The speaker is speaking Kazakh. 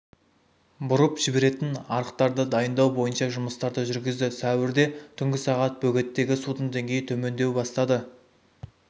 бұрып жіберетін арықтарды дайындау бойынша жұмыстарды жүргізді сәуірде түнгі сағат бөгеттегі судың деңгейі төмендеу бастады